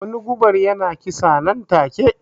Wani gubar ya na kisa nan take